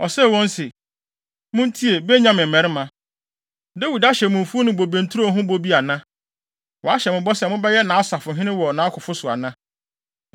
Osee wɔn sɛ, “Muntie, Benyamin mmarima! Dawid ahyɛ mo mfuw ne bobe nturo ho bɔ bi ana? Wahyɛ mo bɔ sɛ mobɛyɛ nʼasafohene wɔ nʼakofo so ana?